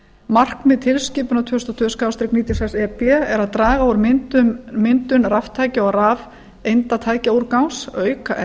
markmið tilskipunar tvö þúsund og tvö níutíu og sex e b er að draga úr myndun raftækja og rafeindatækjaúrgangs auka